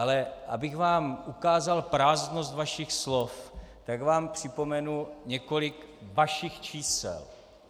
Ale abych vám ukázal prázdnost vašich slov, tak vám připomenu několik vašich čísel.